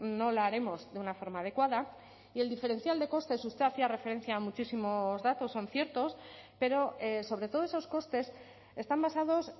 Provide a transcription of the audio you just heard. no la haremos de una forma adecuada y el diferencial de costes usted hacía referencia a muchísimos datos son ciertos pero sobre todo esos costes están basados